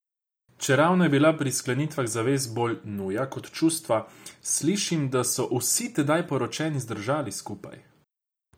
Čeravno je bila pri sklenitvah zavez bolj nuja kot čustva, slišim, da so vsi tedaj poročeni zdržali skupaj.